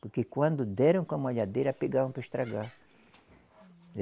Porque quando deram com a malhadeira, pegavam para estragar.